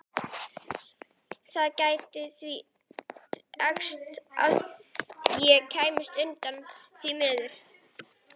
Það gæti því dregist að ég kæmist utan, því miður.